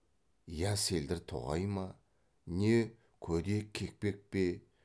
я селдір тоғай ма не көде кекпек пе